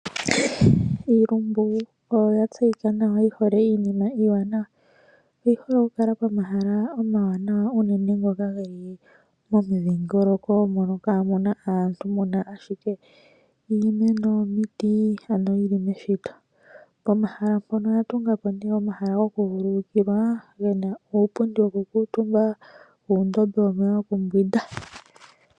Iilumbu oyo yatseyika nawa yihole iinima iiwanawa . Oyi hole okukala pomahala omawanawa unene ngoka geli momundhingoloko moka kaamuna aantu, muna ashike iimeno . Pomahala mpono oya tungapo omahala gokuvulukilwa gena uupundi wokukuutumbwa uundombe womeya gokumbwinda.